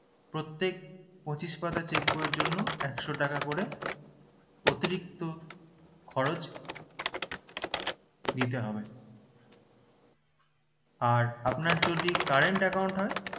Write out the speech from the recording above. প্রত্যেক পঁচিশ পাতার cheque বই এর জন্য একশো টাকা করে অতিরিক্ত খরচ দিতে হবে আর আপনার যদি current account হয়